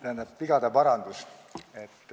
Tähendab, vigade parandus.